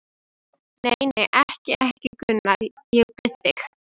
Nei, nei, ekki, ekki, Gunnar, ég bið þig.